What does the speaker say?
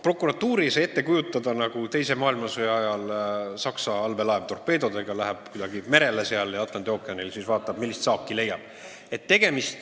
Prokuratuuri ei saa ette kujutada nii, et ta läheb nagu teise maailmasõja ajal torpeedodega Saksa allveelaev merele ja vaatab seal Atlandi ookeanis, millist saaki leiab.